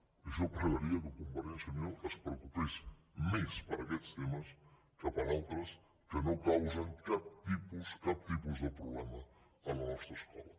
i jo pregaria que convergència i unió es preocupés més per aquests temes que per altres que no causen cap tipus de problema a la nostra escola